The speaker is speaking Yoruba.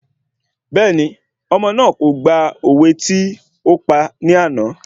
Bẹ́ẹ̀ni, ọmọ náà kò gba òwe tí ópa ní àná